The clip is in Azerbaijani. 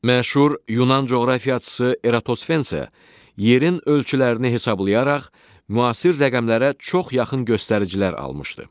Məşhur Yunan coğrafiyaçısı Eratosfen isə yerin ölçülərini hesablayaraq müasir rəqəmlərə çox yaxın göstəricilər almışdı.